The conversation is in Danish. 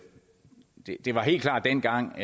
var helt klart dengang